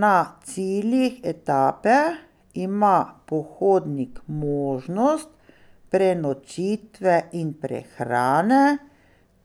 Na ciljih etape ima pohodnik možnost prenočitve in prehrane